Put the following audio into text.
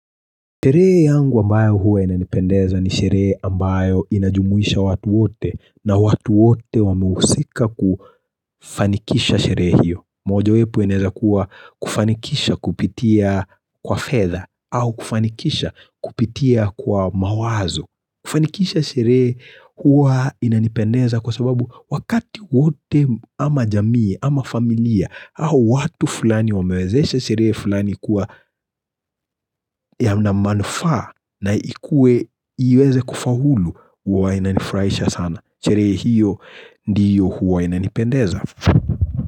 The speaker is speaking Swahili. Teree yangu ambayo huwa inanipendeza ni sherehe ambayo inajumuisha watu wote na watu wote wameusika kufanikisha sherehe hiyo. Mojawepo inezakuwa kufanikisha kupitia kwa fedha au kufanikisha kupitia kwa mawazo. Kufanikisha sherehe huwa inanipendeza kwa sababu wakati wote ama jamii ama familia au watu fulani wamewezeshe sherehee fulani kuwa ya manamanufaa na ikue, iweze kufahulu, huwa inanifurahisha sana sherehe hiyo, ndiyo huwa ina nipendeza.